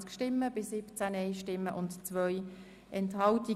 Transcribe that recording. Sie haben den Antrag Regierungsrat und SiK angenommen.